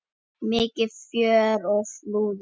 Mikið fjör á Flúðum